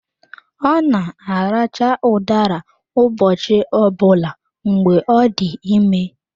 Ọ na-aracha udara ụbọchị ọ bụla mgbe ọ dị ime.